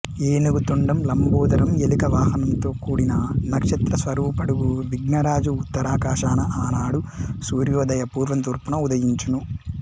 ఏనుగు తొండం లంబోదరం ఎలుక వాహనంతో కూడిన నక్షత్రస్వరూపుడగు విఘ్నరాజు ఉత్తరాకాశాన ఆనాడు సూర్యోదయ పూర్వం తూర్పున ఉదయించును